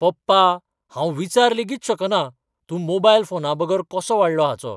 पप्पा, हांव विचार लेगीत शकना, तूं मोबायल फोना बगर कसो वाडलो हाचो.